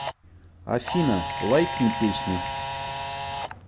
афина лайкни песню